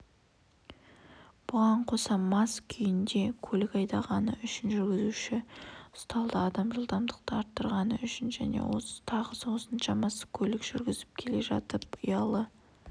бұған қоса мас күйінде көлік айдағаны үшін жүргізуші ұсталды адам жылдамдықты арттырғаны үшін және тағы осыншамасы көлік жүргізіп келе жатып ұялы